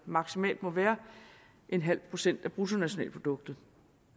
maksimalt må være en halv procent af bruttonationalproduktet